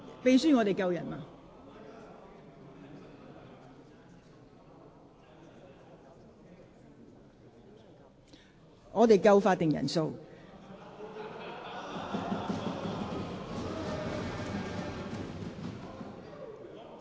秘書，現在是否有足夠法定人數？